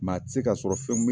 Maa tɛ ka sɔrɔ fɛn